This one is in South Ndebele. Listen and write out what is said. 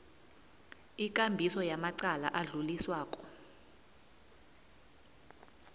ikambiso yamacala adluliswako